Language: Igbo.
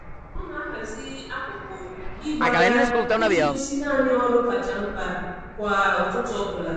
Ọ na-ahazi akụkụ ịgba ya iji gosi naanị ọrụ kacha mkpa kwa ụtụtụ ọbụla.